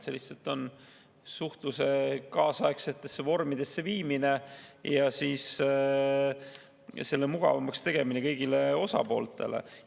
See lihtsalt on suhtluse kaasaegsesse vormi viimine ja siis selle mugavamaks tegemine kõigile osapooltele.